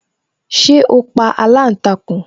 Ṣé o pa aláǹtakùn